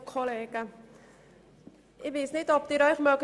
Vielleicht erinnern Sie sich: